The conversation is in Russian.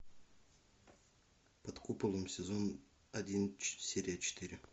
под куполом сезон один серия четыре